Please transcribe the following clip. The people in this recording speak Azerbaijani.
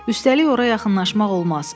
Üstəlik ora yaxınlaşmaq olmaz.